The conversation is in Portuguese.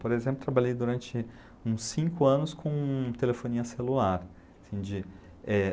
Por exemplo, trabalhei durante uns cinco anos com telefonia celular. Assim de, eh...